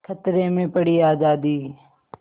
खतरे में पड़ी आज़ादी